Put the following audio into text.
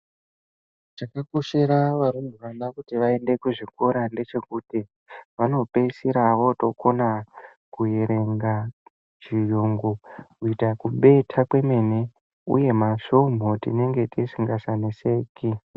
Chakakoshera varumbwana kuti vaende kuchikora ndechekuti vanopedzisira vokona kuerenga chirungu kuita kudeta kwemene uye masvomhu tenge tisingachaneseki.